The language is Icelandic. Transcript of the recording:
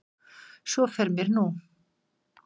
Svo fer mér nú.